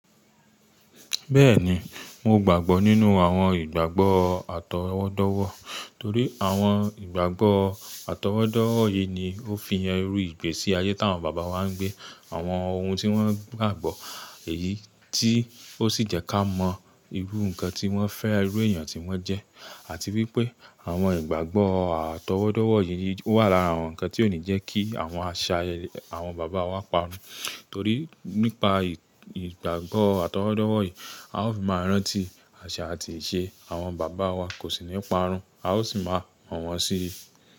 Bẹ́ẹ̀ni, mo gbàgbọ́ nínú àwọn ìgbàgbọ́ àtọwọ́dọ́wọ́, torí àwọn ìgbàgbọ́ àtọwọ́dọ́wọ́ yìí ni ó fi yan irú ìgbésí ayé tí àwọn bàbá wa ń gbé, àwọn ohun tí wọ́n gbàgbọ́ èyí tí ó sì jẹ́ ká mọ irú nǹkan tí wọ́n fẹ́, irú èèyàn tí wọ́n jẹ́ àti wípé àwọn ìgbàgbọ́ àtọwọ́dọ́wọ́ yìí wà lára àwọn nǹkan tí ó ní jẹ́ kí àwọn àṣà àwọn bàbá wa parun. Torí nípa ìgbàgbọ́ àtọwọ́dọ́wọ́ yìí, a ó fi máa rántí àṣà àti ìṣe àwọn bàbá wa kò sì ní parun, a ó sì máa mọ̀ wọ́n sí i.